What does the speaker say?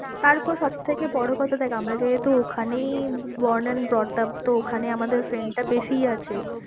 তার ওপর সবথেকে বড় কথা দেখ আমরা যেহেতু ঐখানেই born and brought up তো ঐখানে আমাদের friend টা বেশি আছে।